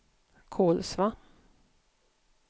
Kolsva